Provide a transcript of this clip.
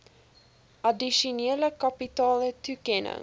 addisionele kapitale toekenning